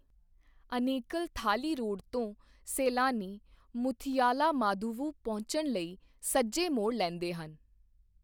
Anekal Thali road ਤੋਂ, ਸੈਲਾਨੀ ਮੁਥਿਯਾਲਾਮਾਦੁਵੁ ਪਹੁੰਚਣ ਲਈ ਸੱਜੇ ਮੋੜ ਲੈਂਦੇ ਹਨ।